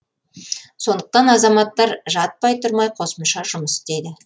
сондықтан азаматтар жатпай тұрмай қосымша жұмыс істейді